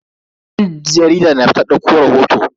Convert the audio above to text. Dan jarida na fita dauko rahoto.